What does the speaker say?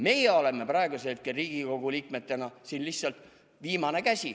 Meie oleme praegusel hetkel Riigikogu liikmetena siin lihtsalt viimane käsi.